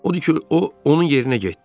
Odur ki, o onun yerinə getdi.